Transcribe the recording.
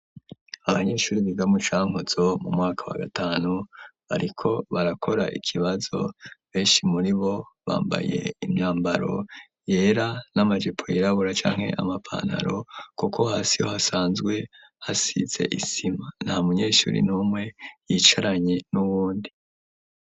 Abanyeshuri biga mucankuzo mu mwaka wa gatanu, bariko barakora ikibazo benshi muri bo bambaye imyambaro yera n'amajepo yirabura canke amapantaro, kuko hasi ho hasanzwe hasize isima nta munyeshuri n'umwe yicaranye n'uwundi.